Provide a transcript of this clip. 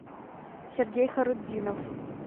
сергей харутдинов